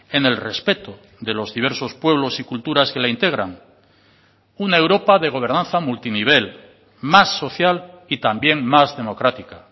en el respeto de los diversos pueblos y culturas que la integran una europa de gobernanza multinivel más social y también más democrática